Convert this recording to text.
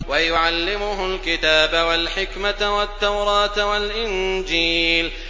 وَيُعَلِّمُهُ الْكِتَابَ وَالْحِكْمَةَ وَالتَّوْرَاةَ وَالْإِنجِيلَ